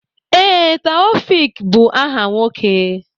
Ee, Taofiq bụ áhà nwoke.